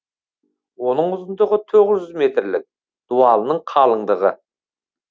оның ұзындығы тоғыз жүз метрлік дуалының қалыңдығы